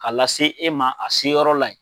K'a lase e ma a seyɔrɔ la ye.